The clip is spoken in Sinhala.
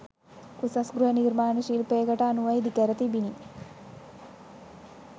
උසස් ගෘහ නිර්මාණ ශිල්පයකට අනුව ඉදිකර තිබිණි